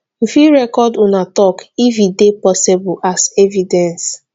you fit record una talk if e de possible as evidence